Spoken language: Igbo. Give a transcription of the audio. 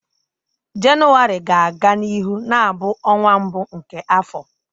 Jenụwarị ga-aga n'ihu na-abụ ọnwa mbụ nke afọ.